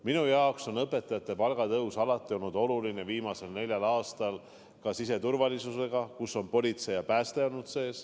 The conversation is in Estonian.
Minu jaoks on õpetajate palga tõus alati olnud oluline, samamoodi ka siseturvalisus, kus on sees politsei ja pääste.